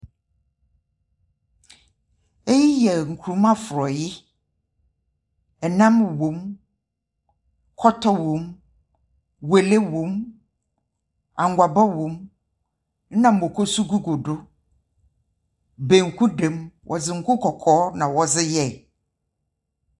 Eyi ɛ nkruma fɔe. Nam wom. Kɔtɔ wom. Wɔle wom. Anwaba wom. Na moko nso gugu do. Banku da mu. Wɔdze ngo kɔkɔɔ na wɔdze yɛe.